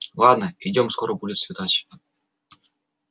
ладно идём скоро будет светать